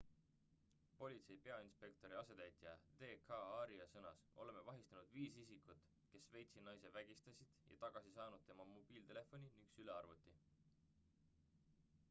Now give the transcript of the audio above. politsei peainspektori asetäitja d k arya sõnas oleme vahistanud viis isikut kes šveitsi naise vägistasid ja tagasi saanud tema mobiiltelefoni ning sülearvuti